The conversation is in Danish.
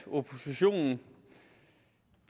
oppositionen